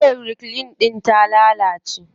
Wayar reclean din ta lalace.